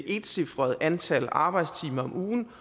etcifret antal arbejdstimer om ugen